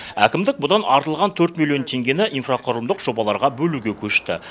әкімдік бұдан артылған төрт миллион теңгені инфрақұрылымдық жобаларға бөлуге көшті